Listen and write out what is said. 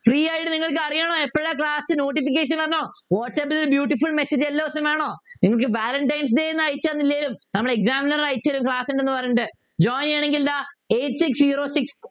Free ആയിട്ട് നിങ്ങൾക്കറിയണോ എപ്പോഴാ Class notification വന്നോ വാട്ട്സ് ആപ്പ്ൽ Beutiful messages എല്ലാ ദിവസവും വേണോ നിങ്ങക്ക് Valentine's day ഒന്നും അയച്ചു തന്നില്ലേലും നമ്മുടെ Examiner അയച്ചു തരും Class ഉണ്ടെന്നു പറഞ്ഞിട്ട് join ചെയ്യണെങ്കി ഇതാ Eight six zero six